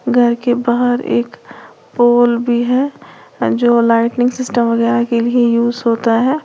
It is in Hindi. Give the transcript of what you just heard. घर के बाहर एक पोल भी है जो लाइटनींग सिस्टम वगैरह के लिए यूज होता है।